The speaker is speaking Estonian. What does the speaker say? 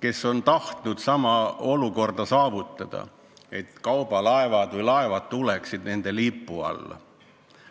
kes on tahtnud saavutada, et laevad tuleksid nende lipu alla.